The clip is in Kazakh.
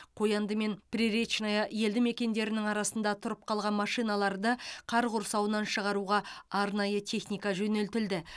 қоянды мен приречное елді мекендерінің арасында тұрып қалған машиналарды қар құрсауынан шығаруға арнайы техника жөнелтілді